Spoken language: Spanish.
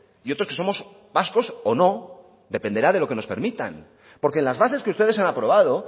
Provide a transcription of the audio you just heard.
y otros que somos vascos o no dependerá de lo que nos permitan porque las bases que ustedes han aprobado